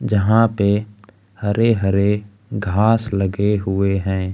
जहां पे हरे हरे घास लगे हुए है।